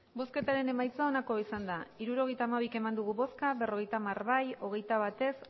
hirurogeita hamabi eman dugu bozka berrogeita hamar bai hogeita bat ez